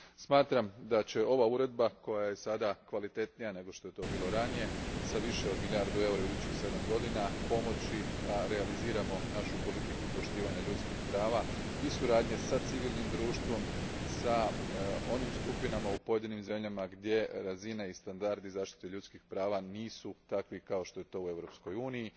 Smatram da će ova Uredba koja je sada kvalitetnija nego što je to bila ranije, s više od milijardu eura u idućih sedam godina, pomoći da realiziramo našu politiku poštovanja ljudskih prava i suradnje s civilnim društvom, s onim skupinama u pojedinim zemljama gdje razine i standardi zaštite ljudskih prava nisu takvi kao što je to u Europskoj uniji.